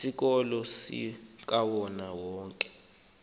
isikolo sikawonke wonke